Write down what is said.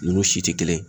Ninnu si tɛ kelen ye